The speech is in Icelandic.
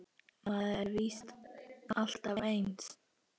Maður er víst alltaf eins!